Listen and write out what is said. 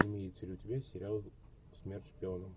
имеется ли у тебя сериал смерть шпионам